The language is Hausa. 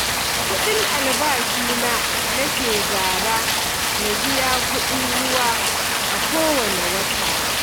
Kuɗin albashina nake zara na biya kuɗin ruwa a kowanne wata